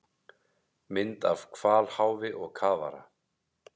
Mynd af hvalháfi og kafara.